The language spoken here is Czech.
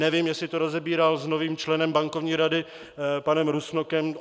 Nevím, jestli to rozebíral s novým členem Bankovní rady panem Rusnokem.